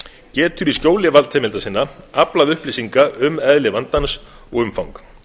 getur í skjóli valdheimilda sinna aflað upplýsinga um eðli vandans og umfang